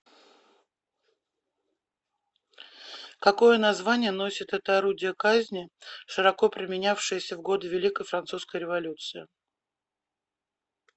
какое название носит это орудие казни широко применявшееся в годы великой французской революции